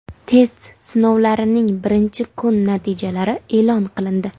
Test sinovlarining birinchi kuni natijalari e’lon qilindi.